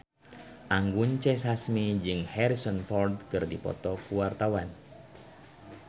Anggun C. Sasmi jeung Harrison Ford keur dipoto ku wartawan